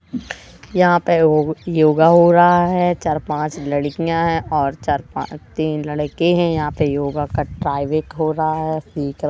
यहाँ पे वो योगा हो रहा है चार-पाँच लड़कियाँ हैं और चार-पाँच तीन लड़के हैं यहाँ पे योगा का ट्राई बैक हो रहा है --